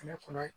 Ne kɔnɔ